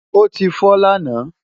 ó ti fọ́ lánàá